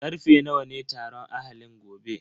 Karfe nawa ne taron ahalin gobe?